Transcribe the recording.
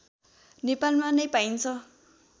नेपालमा नै पाइन्छ